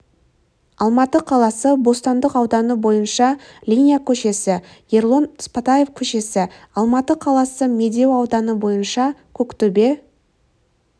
алматы қаласы бостандық ауданы бойынша линия көшесі ербол сыпатаев көшесі алматы қаласы медеу ауданы бойынша көктөбе